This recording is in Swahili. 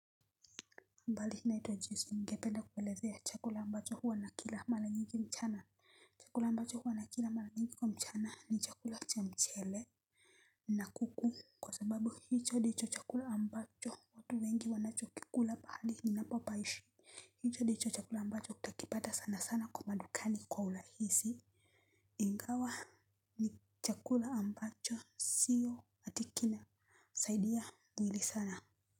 Habari naitwa Joyce ningependa kukuelezea chakula ambacho huwa nakila mara nyingi mchana. Chakula ambacho huwa nakila mara nyingi kwa mchana ni chakula cha mchele. Na kuku kwa sababu hicho ndicho chakula ambacho watu wengi wanachokikula mahali ninapopaishi. Hicho ndicho chakula ambacho utakipata sana sana kwa madukani kwa urahisi. Ingawa ni chakula ambacho siyo ati kinasaidia mwili sana.